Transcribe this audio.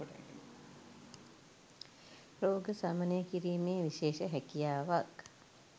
රෝග සමනය කිරීමේ විශේෂ හැකියාවක්